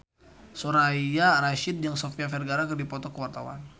Soraya Rasyid jeung Sofia Vergara keur dipoto ku wartawan